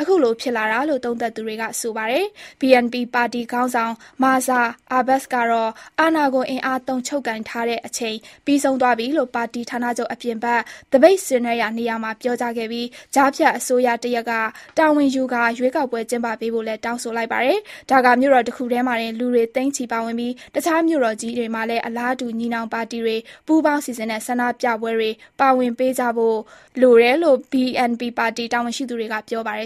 အခုလို ဖြစ်လာတာလို့ သုံးသပ်သူတွေက ဆိုနေပါတယ်။ BNP ပါတီ ခေါင်းဆောင် မာဇာအဘာ့စ် (Mirza Abbas) ကတော့ အာဏာကို အင်အားသုံး ချုပ်ကိုင်ထားတဲ့ အချိန်ပြီးဆုံးသွားပြီလို့ ပါတီဌာနချုပ် အပြင်ဘက်သပိတ်ဆင်နွဲနေရာမှာပြောခဲ့ပြီး ကြားနေကျတဲ့ အစိုးရတရပ်ကတာဝန်ယူကာ ရွေးကောက်ပွဲကျင်းပပေးဖို့လည်း တောင်းဆိုလိုက်ပါတယ်။ ဒါကာမြို့တော်တခုထဲမှာတင် လူတွေသိန်းချီပါဝင်ပြီး တခြားမြို့ကြီးတွေမှာလည်း အလားတူ ညီနောင်ပါတီတွေ ပူးပေါင်းစီစဉ်တဲ့ ဆန္ဒပြပွဲထဲ ပါဝင်ပေးခဲ့ကြတယ်လို့ BNP ပါတီ တာဝန်ရှိသူတွေက ပြောပါတယ်